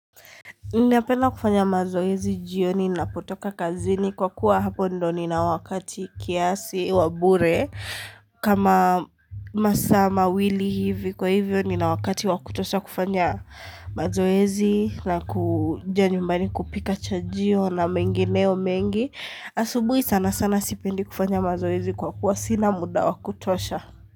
Ninapena kufanya mazoezi jioni ninapotoka kazini kwa kuwa hapo ndo nina wakati kiasi wa bure kama masaa mawili hivi kwa hivyo nina wakati wa kutosha kufanya mazoezi na kuja nyumbani kupika chajio na mengineyo mengi asubuhi sana sana sipendi kufanya mazoezi kwa kuwa sina muda wa kutosha.